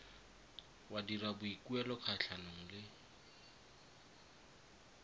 wa dira boikuelo kgatlhanong le